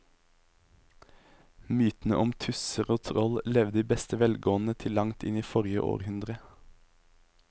Mytene om tusser og troll levde i beste velgående til langt inn i forrige århundre.